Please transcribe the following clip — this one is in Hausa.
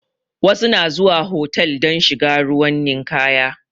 Wasu na zuwa hotal don shiga ruwan ninkaya